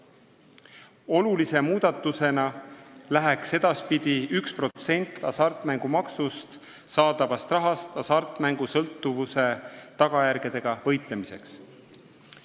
Olulise muudatusena läheks edaspidi 1% hasartmängumaksust saadavast rahast hasartmängusõltuvuse tagajärgedega võitlemiseks.